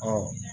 Ɔ